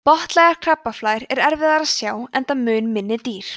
botnlægar krabbaflær er erfiðara að sjá enda mun minni dýr